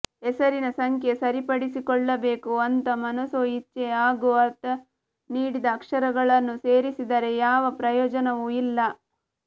ಹೆಸರಿನ ಸಂಖ್ಯೆ ಸರಿಪಡಿಸಿಕೊಳ್ಳಬೇಕು ಅಂತ ಮನಸೋ ಇಚ್ಛೆ ಹಾಗೂ ಅರ್ಥ ನೀಡದ ಅಕ್ಷರಗಳನ್ನು ಸೇರಿಸಿದರೆ ಯಾವ ಪ್ರಯೋಜನವೂ ಇಲ್ಲ